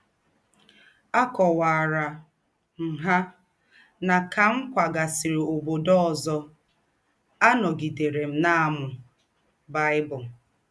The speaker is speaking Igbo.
Àkọ̀wàrà m hà nà, kà m kwàgàsịrị ǒbòdò ọ̀zọ̀, ànọ̀gidèrè m na - àmū Bible.